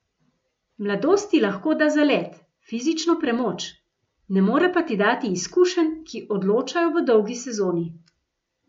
Mladost ti lahko da zalet, fizično premoč, ne more pa ti dati izkušenj, ki odločajo v dolgi sezoni.